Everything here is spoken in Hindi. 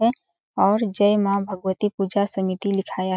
है और जय माँ भगवती पूजा समिति लिखाया --